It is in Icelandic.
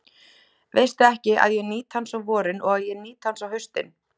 Veistu ekki, að ég nýt hans á vorin og að ég nýt hans á haustin?